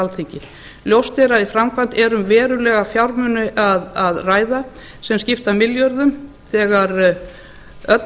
alþingi ljóst er að í framkvæmd er um verulega fjármuni að ræða sem skipta milljörðum þegar öll